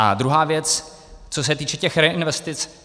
A druhá věc, co se týče těch reinvestic.